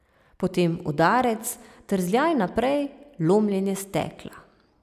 Potem udarec, trzljaj naprej, lomljenje stekla.